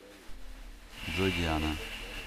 джой диана